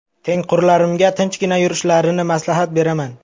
Tengqurlarimga tinchgina yurishlarini maslahat beraman.